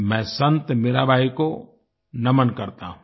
मैं संत मीराबाई को नमन करता हूं